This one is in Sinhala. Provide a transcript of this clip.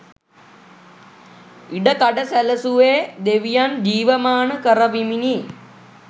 ඉඩකඩ සැලසුවේ දෙවියන් ජීවමාන කරවමිනි.